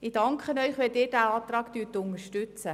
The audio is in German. Ich danke Ihnen, wenn Sie diesen Antrag unterstützen.